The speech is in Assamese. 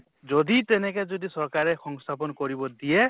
যদি তেনেকে যদি চৰকাৰে সংস্থাপন কৰিব দিয়ে